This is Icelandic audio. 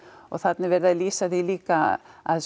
og þarna er verið að lýsa því líka að